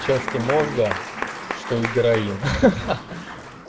части мозга что и героин ха ха